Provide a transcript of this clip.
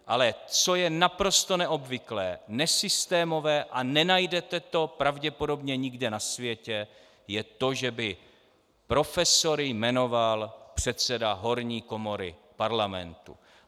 Ale co je naprosto neobvyklé, nesystémové a nenajdete to pravděpodobně nikde na světě, je to, že by profesory jmenoval předseda horní komory parlamentu.